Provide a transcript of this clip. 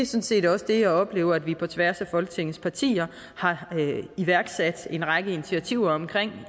set også det jeg oplever altså at vi på tværs af folketingets partier har iværksat en række initiativer omkring